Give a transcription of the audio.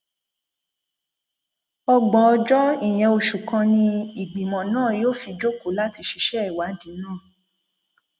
ọgbọn ọjọ ìyẹn oṣù kan ni ìgbìmọ náà yóò fi jókòó láti ṣiṣẹ ìwádìí yìí